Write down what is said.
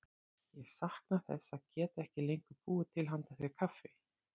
Ég sakna þess að geta ekki lengur búið til handa þér kaffi.